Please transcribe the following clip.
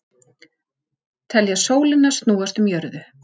Telja sólina snúast um jörðu